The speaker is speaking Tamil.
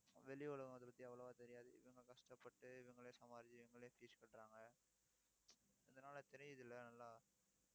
வெளி உலகத்தை பத்தி அவ்வளவா தெரியாது இவங்க கஷ்டப்பட்டு, இவங்களே சமாளிச்சு, இவங்களே fees கட்டுறாங்க. இதனால தெரியுது இல்ல எல்லாம்